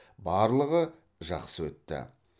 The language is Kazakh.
барлығы жақсы өтті